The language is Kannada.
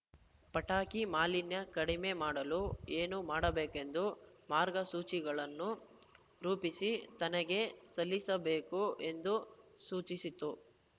ಪಟಾಕಿ ಮಾಲಿನ್ಯ ಕಡಿಮೆ ಮಾಡಲು ಏನು ಮಾಡಬೇಕೆಂದು ಮಾರ್ಗಸೂಚಿಗಳನ್ನು ರೂಪಿಸಿ ತನಗೆ ಸಲ್ಲಿಸಬೇಕು ಎಂದೂ ಸೂಚಿಸಿತು